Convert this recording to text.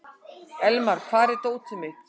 Elmar, hvar er dótið mitt?